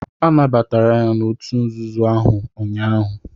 Anabatara ya n'òtù nzuzo ahụ ụnyaahụ.